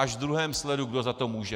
Až v druhém sledu, kdo za to může.